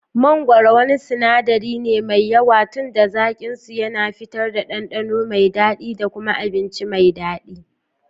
Mangoro wani sinadari ne mai yawa tunda zaƙinsu yana fitar da ɗanɗano mai daɗi da kuma abinci mai daɗi.